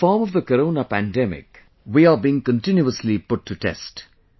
In the form of the Corona pandemic, we are being continuously put to test